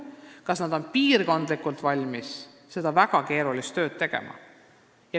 Iseasi on, kas nad on valmis piirkondlikult seda väga keerulist tööd tegema.